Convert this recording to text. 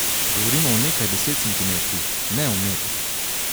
Govorimo o nekaj deset centimetrih, ne o metrih.